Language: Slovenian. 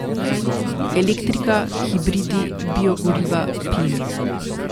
Elektrika, hibridi, biogoriva, plin.